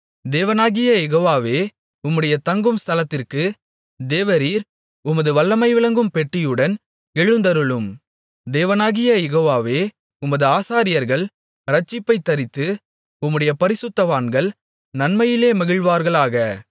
தேவனாகிய யெகோவாவே உம்முடைய தங்கும் ஸ்தலத்திற்கு தேவரீர் உமது வல்லமை விளங்கும் பெட்டியுடன் எழுந்தருளும் தேவனாகிய யெகோவாவே உமது ஆசாரியர்கள் இரட்சிப்பைத் தரித்து உம்முடைய பரிசுத்தவான்கள் நன்மையிலே மகிழ்வார்களாக